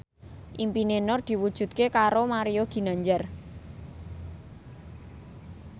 impine Nur diwujudke karo Mario Ginanjar